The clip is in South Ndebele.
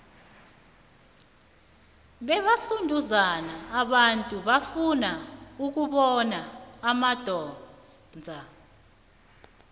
bebasunduzana abantu bafuna ukubona umandoza